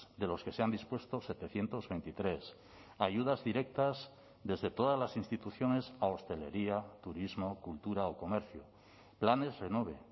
de los que se han dispuesto setecientos veintitrés ayudas directas desde todas las instituciones a hostelería turismo cultura o comercio planes renove